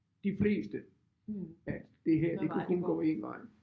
De fleste at det her det kunne kun gå én vej